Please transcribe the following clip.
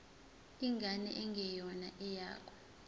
ingane engeyona eyakho